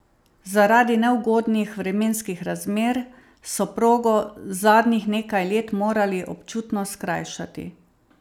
Zaradi neugodnih vremenskih razmer so progo zadnjih nekaj let morali občutno skrajšati.